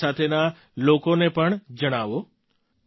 પોતાની સાથેના લોકોને પણ જણાવો